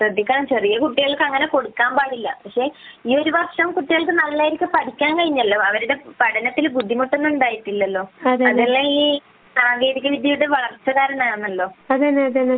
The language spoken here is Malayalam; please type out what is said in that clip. ശ്രദ്ധിക്കണം ചെറിയ കുട്ടികൾക്ക് അങ്ങനെ കൊടുക്കാൻ പാടില്ല . പക്ഷെ ഈ ഒരു വര്ഷം കുട്ടികൾക്ക് നന്നായി പഠിക്കാൻ കഴിഞ്ഞല്ലോ . കുട്ടികൾക്ക് പഠനത്തിൽബുദ്ധിമുട്ട് ഒന്നും ഉണ്ടായിട്ടില്ലല്ലോ അതെല്ലാം ഈ സാങ്കേതിക വിദ്യയുടെ വളർച്ച കരണമാണല്ലോ